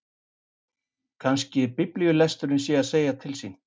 Kannski biblíulesturinn sé að segja til sín.